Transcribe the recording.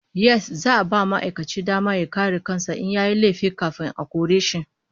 Yes, za'a ba ma'aikaci dama ya kare kan sa in yayi laifi kafin a kore shi